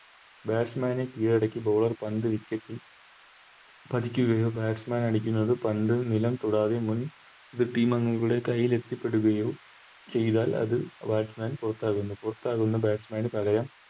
Batsman നെ കീഴടക്കി Bowler പന്ത് Wicket ൽ പതിക്കുകയോ Batsman അടിക്കുന്നത് പന്ത് നിലം തൊടാതെ മുൻ Team അംഗങ്ങളുടെ കൈയിൽ എത്തിപ്പെടുകയോ ചെയ്താൽ അത് Batsman പുറത്താകുന്നു പുറത്താകുന്ന Batsman ന് പാകരം